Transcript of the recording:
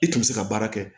I tun bɛ se ka baara kɛ